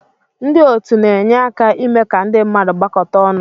Ndị otu na-enye aka ime ka ndị mmadụ gbakọta ọnụ.